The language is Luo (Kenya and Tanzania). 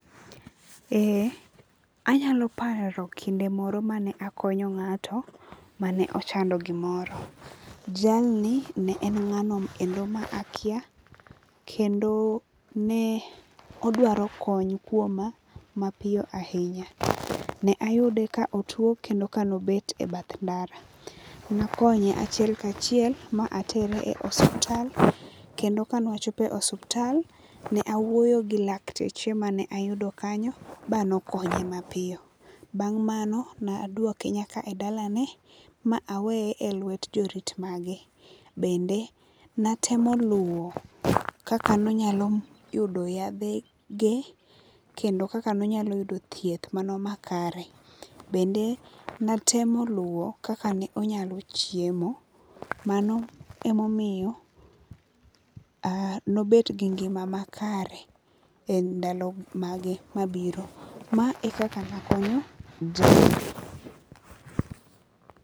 Anyalo paro kinde moro mane akonyo ng'ato mane ochando gimoro. Jalni ne en ng'anokendo ma akia. Kendo ne odwaro kony kuoma mapiyo ahinya. Ne ayude ka otuo kendo ka ne obet e bath ndara. Ne akonye achiel kachiel ma atere e osuptal. Kendo kane ne wachopo e osuptal ne awuoyo gi lakteche mane ayudo kanyo ba ne okonye mapiyo. Bang' mano ne aduoke nyaka e dalane ma aweye e lwet jorit mage. Bende ne atemo luwo kaka nonyalo yudo yadhe ge kendo kaka ne onyalo yudo thieth mano ma kare. Bende natemo luwo kaka ne onyalo chiemo. Mano emomiyo nobet gi ngima makare e ndalo mage mabiro. Ma ekaka ne akonyo jalno.